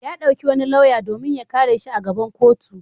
Ya ɗauki wani lauya domin ya kare shi a gaban kotu.